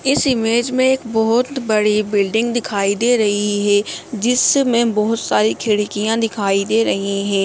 इस इमेज में एक बहुत बड़ी बिल्डिंग दिखाई दे रही है जिसमें बहुत सारी खिड़कियाँ दिखाई दे रही हैं।